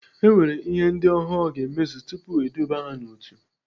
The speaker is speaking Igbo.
E nwere ihe ndị ọhụrụ ga-emezu tupu eduba ha n'otu.